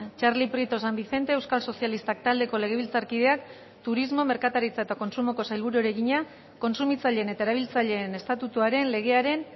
txarli prieto san vicente euskal sozialistak taldeko legebiltzarkideak turismo merkataritza eta kontsumoko sailburuari egina kontsumitzaileen eta erabiltzaileen estatutuaren legearen